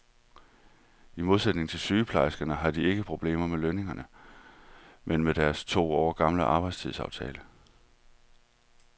I modsætning til sygeplejerskerne har de ikke problemer med lønningerne, men med deres to år gamle arbejdstidsaftale.